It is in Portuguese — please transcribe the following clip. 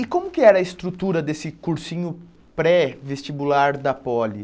E como que era a estrutura desse cursinho pré-vestibular da Poli?